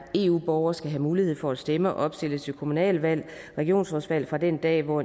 eu borgere skal have mulighed for at stemme og opstille til kommunalvalg og regionsrådsvalg fra den dag hvor